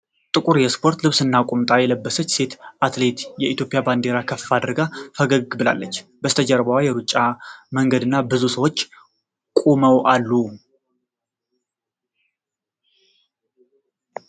ጥቁር የስፖርት ልብስና ቁምጣ የለበሰች ሴት አትሌት የኢትዮጵያን ባንዲራ ከፍ አድርጋ ፈገግ ብላለች። ከበስተጀርባዋ የሩጫ መንገድና ብዙ ሰዎች ቆመው አሉ።